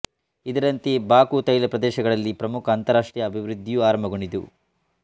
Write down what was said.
ಇದರಂತೆ ಬಾಕು ತೈಲ ಪ್ರದೇಶಗಳಲ್ಲಿ ಪ್ರಮುಖ ಅಂತಾರಾಷ್ಟ್ರೀಯ ಅಭಿವೃದ್ಧಿಯು ಆರಂಭಗೊಂಡಿತು